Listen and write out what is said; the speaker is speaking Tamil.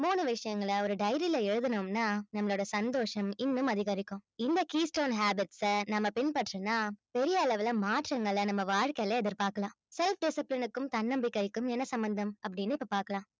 மூணு விஷயங்கள ஒரு diary ல எழுதுனோம்னா நம்மளோட சந்தோஷம் இன்னும் அதிகரிக்கும் இந்த keystone habits அ நம்ம பின்பற்றினா பெரிய அளவுல மாற்றங்களை நம்ம வாழ்க்கையில எதிர்பார்க்கலாம் self discipline க்கும் தன்னம்பிக்கைக்கும் என்ன சம்பந்தம் அப்படின்னு இப்ப பார்க்கலாம்